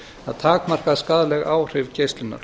að takmarka skaðleg áhrif geislunar